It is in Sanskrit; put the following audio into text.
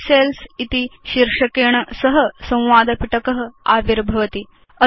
डिलीट सेल्स् इति शीर्षकेण सह संवाद पिटक आविर्भवति